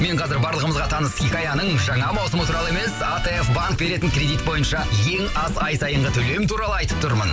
мен қазір барлығымызға таныс хикаяның жаңа маусымы туралы емес атф банк беретін кредит бойынша ең аз ай сайынғы төлем туралы айтып тұрмын